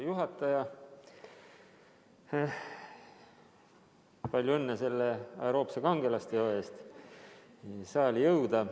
Hea küsija, palju õnne selle aeroobse kangelasteo puhul, et saali jõuda.